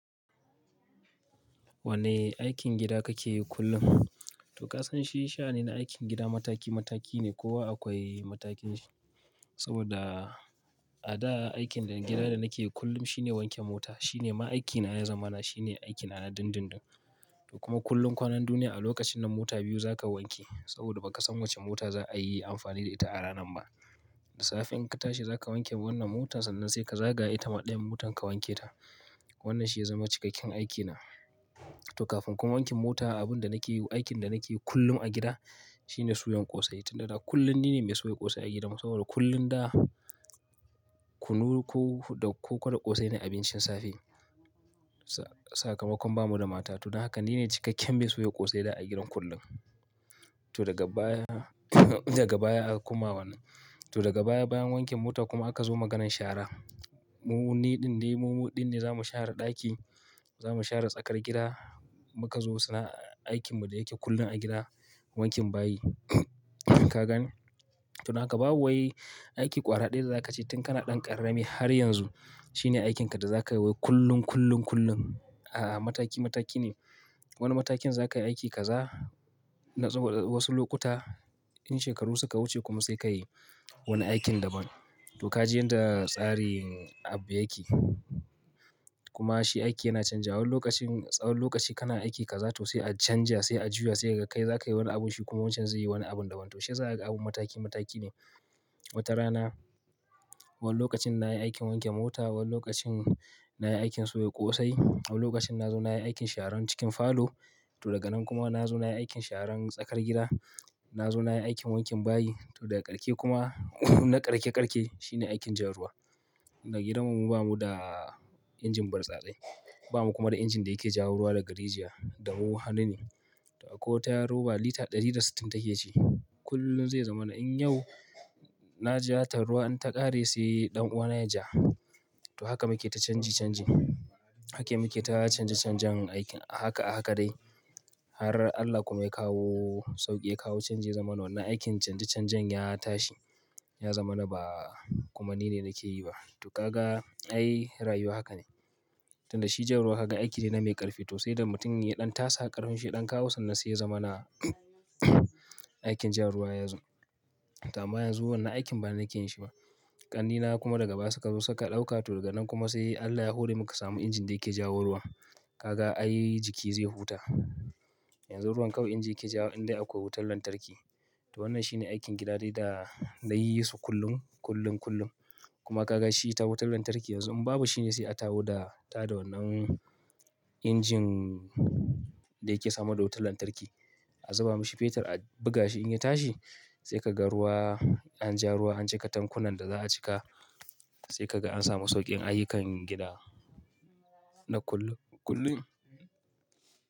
Wane aikin gida kake yi kullum? To ka san shi sha'ani na aikin gida mataki mataki ne ko akwai matakin shi. Saboda a da aikin gida da nake yi kullum shine wanke mota. Shi ne ma aikina ya zamana, shi ne aikin na na dundun dun. Kuma kullum kwanan duniya a lokacin nan mota biyu za ka wanke. Saboda ba ka san wace mota za a yi amfani da ita a ranan ba. Da safe in ka tashi za ka wanke wannan motar sannan sai ka zagaya ita maɗaya motar ka wanke ta. Wannan shi ya zama cikakken aikina. To kafin kuma wanke mota abin da nake yi, aikin da nake yi kullum a gida shine suyan ƙosai. Tunda kullum ni ne mai soya ƙosai a gida. Saboda kullum da kunu ko da koko da ƙosai ne abincin safe. Saka makon bamu da mata. To don haka ni ne cikakken mai soya ƙosai da a gidan kullum. To daga baya, daga baya aka kuma wannan. To daga baya bayan wanke mota kuma aka zo maganan shara. Mu niɗin dai mu muɗin ne za mu share ɗaki, za mu share tsakar gida. Muka zo suna aikinmu da yake kullum a gida wanke bayi. Ka gane? To naka babu wai aiki ƙwara ɗaya za ka ci tun kana ɗan ƙarame har yanzu. Shi ne aikinka da za ka yi kullum kullum kullum. A'a mataki mataki ne. Wani matakin za ka yi aiki ka za na wasu lokuta. In shekaru suka wuce kuma sai ka yi wani aikin daban. To ka ji yadda tsarin abu yake. Kuma shi aiki yana canja. Wani lokacin, tsawan lokaci kana aiki ka za to sai a canja sai a juya sai ka kai, za ka yi wani abun shi kuma wancan zai yi wani abun daban. To shi za ka ga abun mataki mataki ne. Wata rana, wani lokacin na yi aikin wanke mota, wani lokacin na yi aikin soya ƙosai, wani lokacin na zo na yi aikin sharan cikin falo. To daga nan kuma na zo na yi aikin sharan tsakar gida. Na zo na yi aikin wanke bayi. To daga ƙarshe kuma na ƙarshe ƙarshe shi ne aikin jan ruwa. A gidanmu ba mu da injin bartsatse. Ba mu kuma da injin da yake ja ruwa daga rijiya. Da hannu ne. To akwai tayaroba lita darbda sittin take ci take ci. Kullum zai zama na in yau na ja ta ruwa in ta ƙare sai ɗan uwana ya ja. To haka muke ta canji canji. Haka muke ta canja canjan aikin. A Haka, a haka dai. Har Allah kuma ya kawo sauƙi ya kawo canji ya zama wannan aikin canja canjan ya tashi. Ya zama na ba kuma ni ne nake yi ba. To ka ga ai rayuwa haka ne. Tunda shi ja ruwa ka ga aiki ne na mai ƙarfi to sai da mutum ya ɗan tasa ƙarfinsa ya ɗan kawo sannan sai ya zama na aikin ja ruwa yazo. To amma yanzu wannan aikin ba na kinsu ba. Ƙannena kuma daga baya suka zo suka ɗauka. To daga nan kuma sai Allah ya hore muka samu injin da yake ja ruwa. Ka ga ai jiki zai huta. Yanzu ruwan kawai inji yake ja in dai akwai wutar lantarki. To wannan shi ne aikin gida dai da na yi su kullum kullum kullum. Kuma ka ga shi ta wutar lantarki yanzu in babu shi ne sai a taho da tada wannan injin da yake samar da wutar lantarki. A zuba mashi fetur a buga shi in ya tashi. Sai ka ga ruwa an ja ruwa an cika tankunan da za a cika. Sai ka ga an samu sauƙin ayyukan gida na kullum kullum.